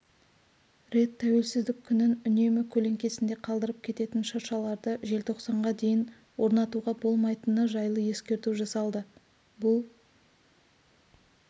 рет тәуелсіздік күнін үнемі көлеңкесінде қалдырып кететін шыршаларды желтоқсанға дейін орнатуға болмайтыны жайлы ескерту жасалды бұл